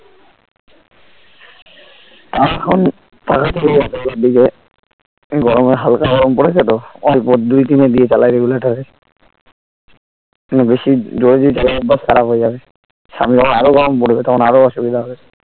আর এখন . গরমে হালকা গরম পড়েছে তো অল্প দুই তিনে দিয়ে চালাই regulator এর বেশি জোরে যদি চালায় অভ্যাস খারাপ হয়ে যাবে সামনে বার আরো গরম পড়বে তখন আরো অসুবিধা হবে